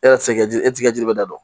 E yɛrɛ tɛ se ka ji e t'i ka jiri bɛɛ da dɔn